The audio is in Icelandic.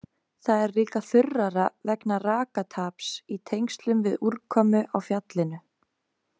Það er líka þurrara vegna rakataps í tengslum við úrkomu á fjallinu.